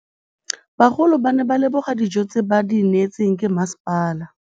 Bagolo ba ne ba leboga dijô tse ba do neêtswe ke masepala.